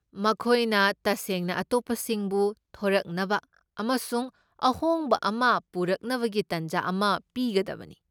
ꯃꯈꯣꯏꯅ ꯇꯁꯦꯡꯅ ꯑꯇꯣꯞꯄꯁꯤꯡꯕꯨ ꯊꯣꯔꯛꯅꯕ ꯑꯃꯁꯨꯡ ꯑꯍꯣꯡꯕ ꯑꯃ ꯄꯨꯔꯛꯅꯕꯒꯤ ꯇꯥꯟꯖꯥ ꯑꯃ ꯄꯤꯒꯗꯕꯅꯤ ꯫